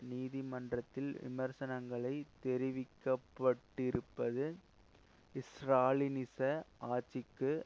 நீதிமன்றத்தில் விமர்சனங்களை தெரிவிக்கப்பட்டிருப்பது ஸ்ராலினிச ஆட்சிக்கு